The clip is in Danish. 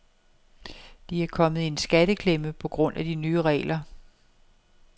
De er kommet i en skatteklemme på grund af de nye regler.